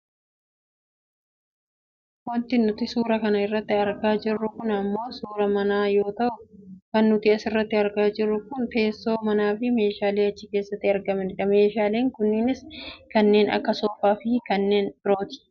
Wanti nuti suuraa kana irratti argaa jirru kun ammoo suuraa manaa yoo ta'u kan nuti asirratti argaa jirru kun keessoo manaafi meeshaalee achi keessatti argamanidha. Meeshaaleen kunniinis kanneen akka soofaafi kanneen birooti.